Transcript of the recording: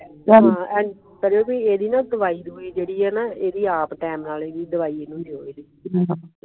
ਗਗਨ ਪ੍ਰਹੇਜ਼ ਦਵਾਈਆਂ ਕਿਹੜੀਆਂ ਹਨ ਇਹ ਆਪ ਦੇ ਨਾਲ ਹੀ ਦਵਾਈਆਂ